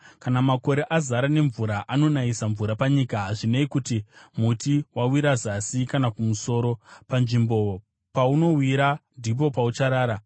Kana makore azara nemvura anonayisa mvura panyika. Hazvinei kuti muti wawira zasi kana kumusoro, panzvimbo paunowira, ndipo paucharara.